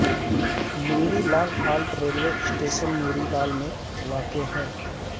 نوری Lal halt railway station Noori Lal میں واقع ہے